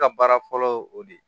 Ka baara fɔlɔ y o de